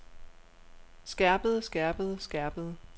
skærpede skærpede skærpede